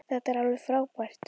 Þetta er alveg frábært.